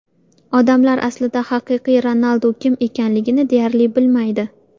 Odamlar aslida haqiqiy Ronaldu kim ekanligini deyarli bilmaydi.